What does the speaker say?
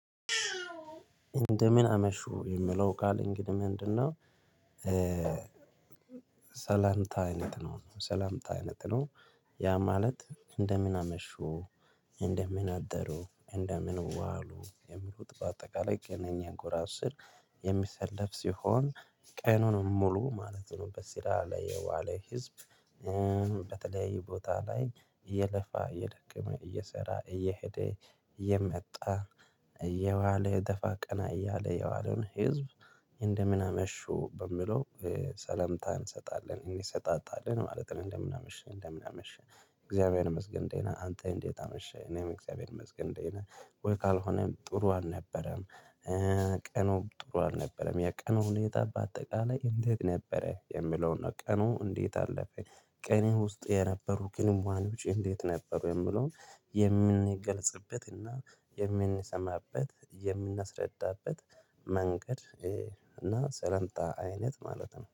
እንደምን አመሹ የሚለው ቃል እንግዲህ ምንድነው? ሰላምታ አይነት ነው። ያ ማለት እንደምን አመሹ እንደምን አደሩ እንደምን ዋሉ የሚሉት በአጠቃላይ ቅነኛ ጎራ ስር። የሚሰለፍ ሲሆን ቀኑን ሙሉ ማለት ነው በሲራ ላይ የዋለ ህዝብ። በተለይ ቦታ ላይ እየለፋ እየደከመ እየሰራ እየሄደ እየመጣ እየዋለ የደፋ ቀና እያለ የዋለውን ህዝብ። እንደምን አመሹ በምለው ሰለምታ እንሰጣለን እኔ እሰጣጣለን ማለት ነው። እንደምን አመሸህ እንደምን አመሸህ እግዚአብሔር ይመስገን አንተ እንዴት አመሸህ እኔም እግዚአብሔር ይመስገን እንዴት ነው። ወይ ካልሆነም ጥሩ አልነበረም። ቀኑም ጥሩ አልነበረም የቀኑን የጣባ በአጠቃላይ እንዴት ነበረ የሚለውን ነው። ቀኑ እንዴት አለፈ። ቀንህ ውስጥ የነበሩ ግንኙነቶች እንዴት ነበሩ። የምለውን የምንገለጽበትና የምንሰማበት የምናስረዳበት መንገድ እና ሰላምታ አይነት ማለት ነው